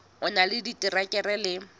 o na le diterekere le